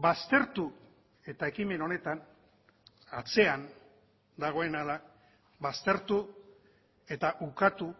baztertu eta ekimen honetan atzean dagoen ahala baztertu eta ukatu